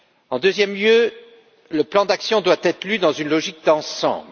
En deuxième lieu, le plan d'action doit être lu dans une logique d'ensemble.